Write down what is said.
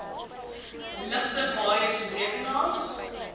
ligte waaiers rekenaars